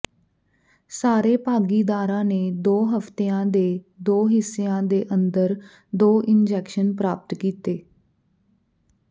ਸਾਰੇ ਭਾਗੀਦਾਰਾਂ ਨੇ ਦੋ ਹਫਤਿਆਂ ਦੇ ਦੋ ਹਿਸਿਆਂ ਦੇ ਅੰਦਰ ਦੋ ਇੰਜੈਕਸ਼ਨ ਪ੍ਰਾਪਤ ਕੀਤੇ